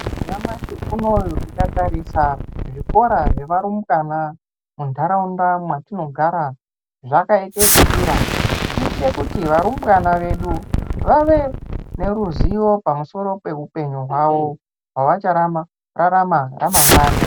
Nyamashi unou tikatarisa zvikora zvevarumbwana muntaraunda mwatinogara zvakaite ekudira kuite kuti varumbwana vedu vave neruzivo pamusoro peupenyu hwawo hwavachararama ramangwani.